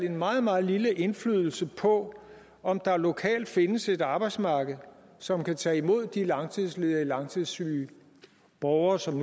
en meget meget lille indflydelse på om der lokalt findes et arbejdsmarked som kan tage imod de langtidsledige og langtidssyge borgere som